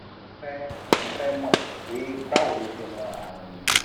mo fe mo fe mo pe bawo lo se mo arun yi